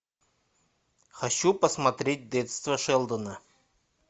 хочу посмотреть детство шелдона